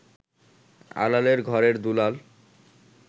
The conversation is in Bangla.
আলালের ঘরের দুলাল